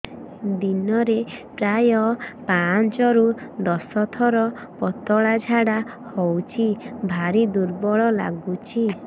ଦିନରେ ପ୍ରାୟ ପାଞ୍ଚରୁ ଦଶ ଥର ପତଳା ଝାଡା ହଉଚି ଭାରି ଦୁର୍ବଳ ଲାଗୁଚି